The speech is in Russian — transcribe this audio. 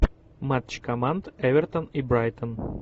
матч команд эвертон и брайтон